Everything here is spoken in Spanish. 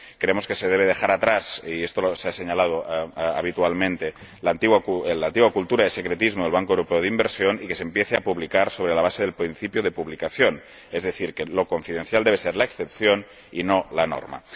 Creemos que se debe dejar atrás ―y esto se señala habitualmente― la antigua cultura del secretismo del Banco Europeo de Inversiones y que se debe empezar a publicar sobre la base del principio de publicación, es decir, que lo confidencial debe ser la excepción y no la norma.